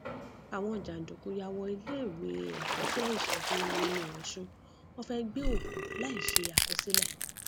àwọn jàǹdùkú yà wọ iléèwé ẹkọṣẹ ìṣègùn uniosun wọn fẹẹ gbé òkú láì ṣe àkọsílẹ